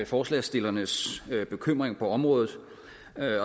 forslagsstillernes bekymring på området